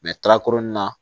tarakuru nin na